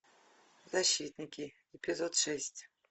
защитники эпизод шесть